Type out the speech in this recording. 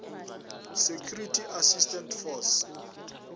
security assistance force